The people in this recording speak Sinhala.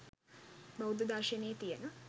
බෞද්ධ දර්ශනයේ තියෙන